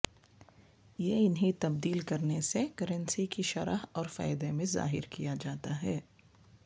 یہ انہیں تبدیل کرنے سے کرنسی کی شرح اور فائدے میں ظاہر کیا جاتا ہے